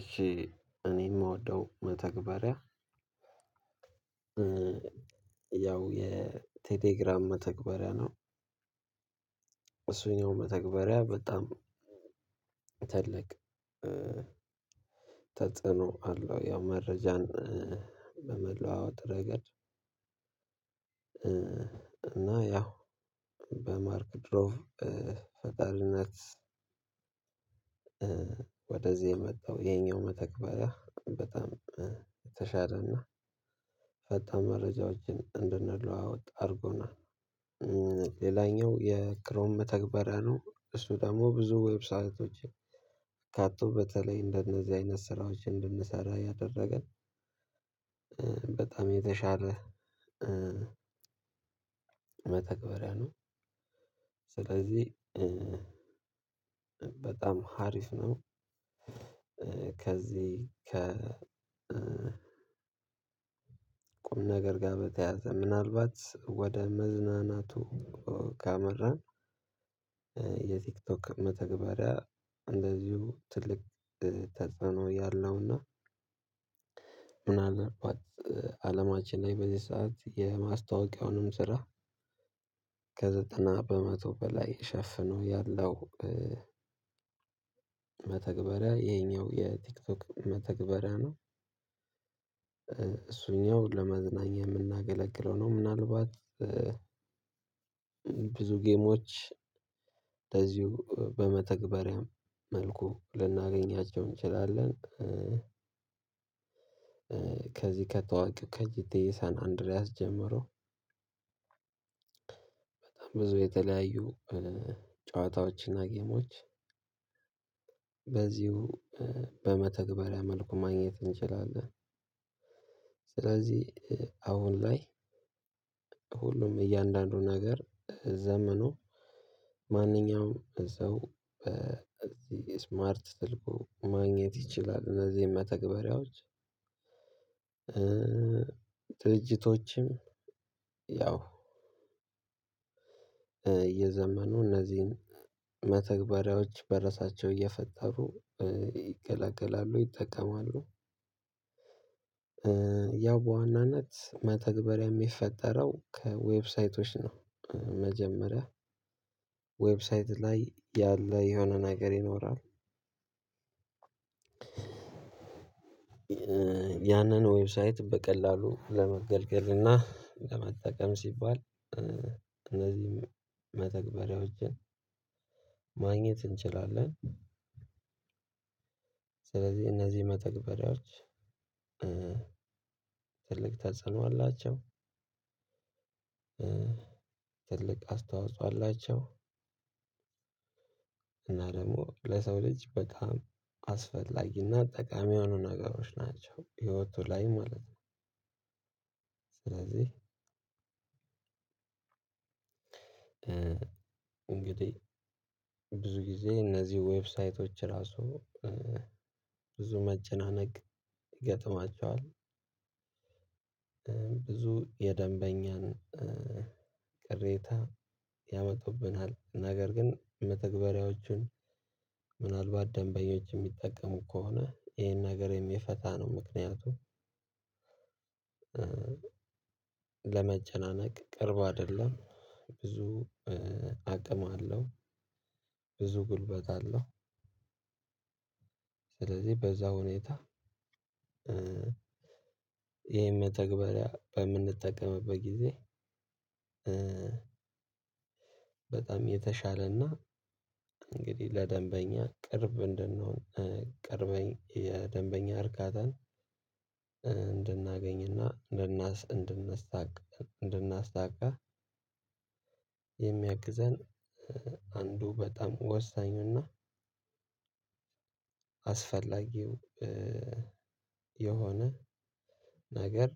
እሺ እኔ የምወደው መተግበሪያ ያው የቴሌግራም መተግበሪያ ነው። እሱን ያው መተግበሪያ በጣም ትልቅ ተጽዕኖ አለው ያው መረጃን በመለዋወጥ ረገድ። እና ያው በማርክ ድሮቭ ፈጣሪነት ወደዚህ የመጣው ይሄኛው መተግበሪያ በጣም የተሻለና ፈጣን መረጃዎችን እንድንለዋወጥ አድርጎናል። ሌላኛው የክሮም መተግበሪያ ነው እሱ ደግሞ ብዙ ዌብሳይቶች አካቶ በተለይ እንደነዚህ አይነት ስራዎች እንድንሰራ ያደረገን በጣም የተሻለ መተግበሪያ ነው። ስለዚህ በጣም ሀሪፍ ነው። ከዚህ ከ ቁም ነገር ጋር በተያያዘ ምናልባት ወደ መዝናናቱ ካመራን የቲክቶክ መተግበሪያ እንደዚሁ ትልቅ ተጽዕኖ ያለውና ምን አልባት አለማችን ላይ በዚህ ሰዓት የማስታወቂያውንም ስራ ከዘጠና በመቶ በላይ ሽፍኖ ያለው መተግበሪያ ይሄኛው የቲክቶክ መተግበሪያ ነው። እሱኛው ለመዝናኛ የምናገለግለው ነው። ምናልባት ብዙ ጌሞች ከዚሁ በመተግበሪያም መልኩ ልናገኛቸው እንችላለን። ከዚህ ከታዋቂው ከጊቴ የሳን አንድሪያስ ጀምሮ ብዙ የተለያዩ ጨዋታዎችና ጌሞች በዚሁ በመተግበሪያ መልኩ ማግኘት እንችላለን። ስለዚህ አሁን ላይ ሁሉም እያንዳንዱ ነገር ዘመኑ ማንኛውም እዛው በዚህ ስማርት ስልኩ ማግኘት ይችላል። እነዚህን መተግበሪያዎች ድርጅቶችም ያው የዘመኑ እነዚህን መተግበሪያዎች በራሳቸው እየፈጠሩ ይገላገላሉ ይጠቀማሉ። ያው በዋናነት መተግበሪያ የሚፈጠረው ከዌብሳይቶች ነው መጀመሪያ ዌብሳይት ላይ ያለ የሆነ ነገር ይኖራል። ያንን ዌብሳይት በቀላሉ ለመገልገል እና ለመጠቀም ሲባል እነዚህም መተግበሪያዎችን ማግኘት እንችላለን። ስለዚህ እነዚህ መተግበሪያዎች ትልቅ ተጽዕኖ አላቸው። ትልቅ አስተዋፅኦ አላቸው። እና ደግሞ ለሰው ልጅ በጣም አስፈላጊና ጠቃሚ የሆኑ ነገሮች ናቸው ህይወቱ ላይ ማለት ነው። ስለዚህ እንግዲህ ብዙ ጊዜ እነዚህ ዌብሳይቶች ራሱ ብዙ መጨናነቅ ይገጥማቸዋል። ብዙ የደንበኛን ቅሬታ ያመጡብናል ነገር ግን መተግበሪያዎቹን ምናልባት ደንበኞች የሚጠቀሙ ከሆነ ይሄን ነገር የሚፈታ ነው። ምክንያቱም ለመጮናነቅ ቅርብ አይደለም። ብዙ አቅም አለው ብዙ ጉልበት አለው። ስለዚህ በዛ ሁኔታ ይሄን መተግበሪያ በምንጠቀምበት ጊዜ በጣም የተሻለና እንግዲህ ለደንበኛ ቅርብ እንድንሆን ቅርብ የደንበኛ እርካታን እንድናገኝና እንድናሳካ የሚያግዘን አንዱ በጣም ወሳኙና አስፈላጊው የሆነ ነገር